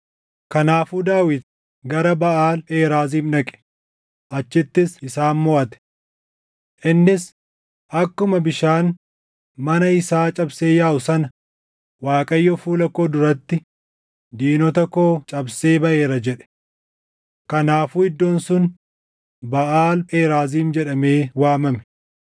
Kanaafuu Daawit gara Baʼaal Pheraaziim dhaqe; achittis isaan moʼate. Innis, “Akkuma bishaan mana isaa cabsee yaaʼu sana Waaqayyo fuula koo duratti diinota koo cabsee baʼeera” jedhe. Kanaafuu iddoon sun Baʼaal Pheraaziim jedhamee waamame.